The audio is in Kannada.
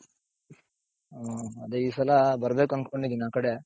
ಹ್ಮ್ ಅದೇ ಈ ಸಲ ಬರ್ಬೇಕು ಅನ್ಕೊಂಡಿದ್ದೀನಿ ಆ ಕಡೆ.